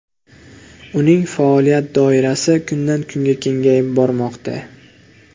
Uning faoliyat doirasi kundan-kunga kengayib bormoqda.